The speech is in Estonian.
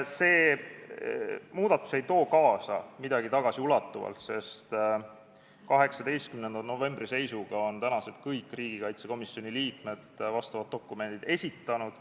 See muudatus tagasiulatuvalt midagi kaasa ei too, sest 18. novembri seisuga on kõik tänased riigikaitsekomisjoni liikmed vastavad dokumendid esitanud.